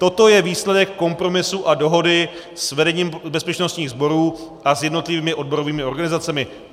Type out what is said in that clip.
Toto je výsledek kompromisu a dohody s vedením bezpečnostních sborů a s jednotlivými odborovými organizacemi.